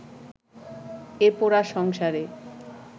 এ পোড়া সংসারে